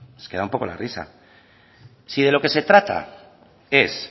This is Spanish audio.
es que da un poco la risa si lo que se trata es